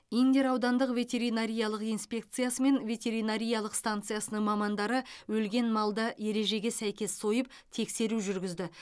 индер аудандық ветеринариялық инспекциясы мен ветеринариялық станциясының мамандары өлген малды ережеге сәйкес сойып тексеру жүргізді